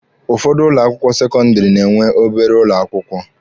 Ụfọdụ ụlọ akwụkwọ sekọndịrị na-enwe obere ụlọ akwụkwọ